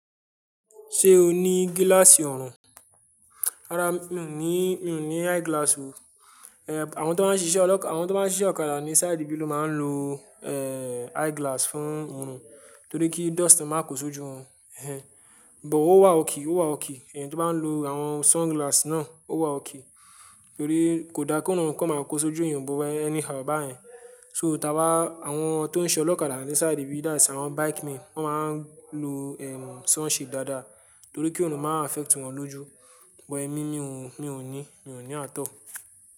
Ṣé o ní gíláàsì ọ̀rùn? Rárá, mi ò ní, mi ò ní eyeglass o. Ehn, àwọn tó máa ń ṣiṣẹ́ ọlọ́, àwọn tó máa ń ṣiṣẹ́ ọ̀kadà ní sáìdì bílù máa ń lo, ehn, eyeglass fún ọ̀rùn torí ki dust máa ko sójú won. Ehn, but ó wà okay, ó wà okay. Ẹeyan tó bá ń lo àwọn sunglass náà ó wà okay torí kò da korun kan máa kó sójú èèyàn but anyhow bá yẹn. So táwà, àwọn tó ń ṣe ọ̀lokadà ní sáìdì bíì that's, àwọn bike men, wọ́n máa ń lo, ehn, sun shade dáadáa torí ki orùn má affect wọn lójú. But émi, mi ò ní, mi ò ní àt all.